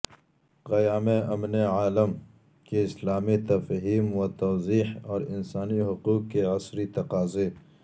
قیام امن عالم کی اسلامی تفہیم و توضیح اور انسانی حقوق کے عصری تقاضے